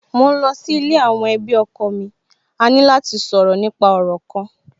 Mò ń lọ sí ilé àwọn ẹbí ọkọ mi, a ní lò láti sọ̀rọ̀ nípa òrò kan